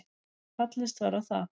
Fallist var á það